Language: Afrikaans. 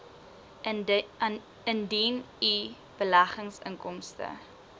indien u beleggingsinkomste